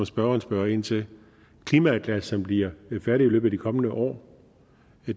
spørgeren spørger ind til klimaatlasset som bliver færdigt i løbet af de kommende år